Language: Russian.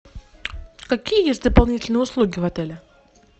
какие есть дополнительные услуги в отеле